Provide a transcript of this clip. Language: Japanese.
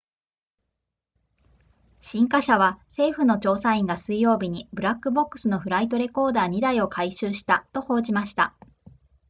新華社は政府の調査員が水曜日にブラックボックスのフライトレコーダー2台を回収したと報じました